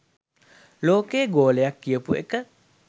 ලෝකය ගෝලයක් කියපු එක.